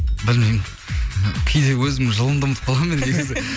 білмеймін кейде өзімнің жылымды ұмытып қаламын мен негізі